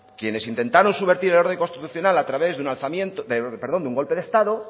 quienes intentaron subvertir el orden constitucional a través de un golpe de estado